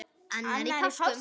annar í páskum